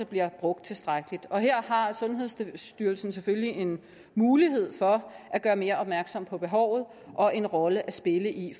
bliver brugt tilstrækkeligt her har sundhedsstyrelsen selvfølgelig en mulighed for at gøre mere opmærksom på behovet og en rolle at spille i